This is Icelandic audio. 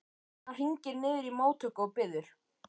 Hann hringir niður í móttöku og biður